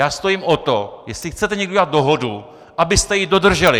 Já stojím o to, jestli chcete někdy udělat dohodu, abyste ji dodrželi!